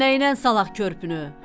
Orda nəynən salaq körpünü?